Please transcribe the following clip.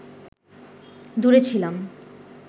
দূরে ছিলাম